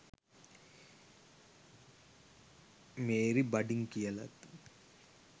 Mary බඩින් කියලත්